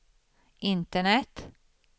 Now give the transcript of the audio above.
internet